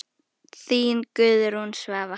Þín Guðrún Svava.